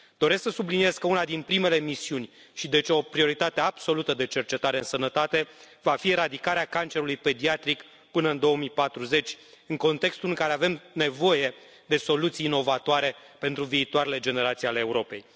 Doresc să subliniez că una din primele misiuni și, deci, o prioritate absolută de cercetare în sănătate va fi eradicarea cancerului pediatric până în 2040, în contextul în care avem nevoie de soluții inovatoare pentru viitoarele generații ale Europei.